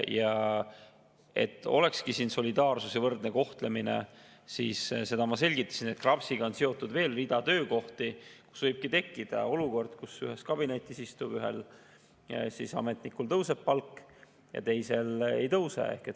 Ja et oleks solidaarsus ja võrdne kohtlemine, seda ma juba selgitasin, et KRAPS-iga on seotud veel rida töökohti, mille puhul võib tekkida olukord, kus ühes kabinetis istuvatel ametnikel ühel tõuseb palk ja teisel ei tõuse.